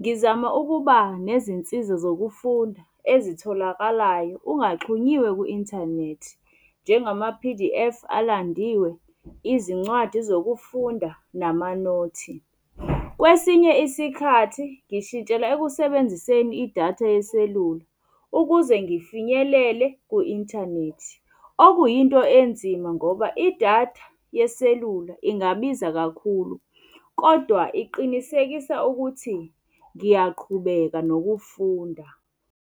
Ngizama ukuba nezinsiza zokufunda ezitholakalayo ungaxhunyiwe ku-inthanethi, njengama-P_D_F alandiwe, izincwadi zokufunda namanothi. Kwesinye isikhathi, ngishintshela ekusebenziseni idatha yeselula ukuze ngifinyelele ku-inthanethi. Okuyinto enzima ngoba idatha yeselula ingabiza kakhulu, kodwa iqinisekisa ukuthi ngiyaqhubeka nokufunda.